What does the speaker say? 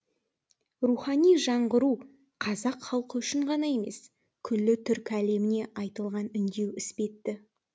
рухани жаңғыру қазақ халқы үшін ғана емес күллі түркі әлеміне айтылған үндеу іспетті